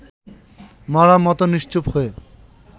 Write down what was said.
মড়ার মতো নিশ্চুপ হয়ে